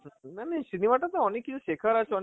হম উম মানে cinema টা তো অনেক কিছু শেখার আছে,